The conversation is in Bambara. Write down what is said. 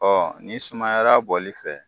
Ɔ nin sumayara bɔli fɛ.